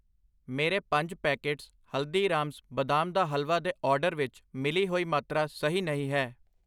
ਮੇਰੇ ਪੰਜ ਪੈਕੇਟਸ ਹਲਦੀਰਾਮਸ ਬਦਾਮ ਦਾ ਹਲਵਾ ਦੇ ਆਰਡਰ ਵਿੱਚ ਮਿਲੀ ਹੋਈ ਮਾਤਰਾ ਸਹੀ ਨਹੀਂ ਹੈ I